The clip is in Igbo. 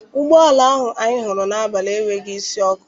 Ụgbọala ahụ anyị hụrụ n'abalị enweghị isi ọkụ.